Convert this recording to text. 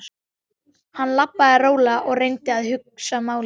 Hann labbaði rólega og reyndi að hugsa málið.